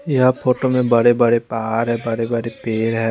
यह फोटो में बड़े बड़े पहाड़ हैं पेड़ ह--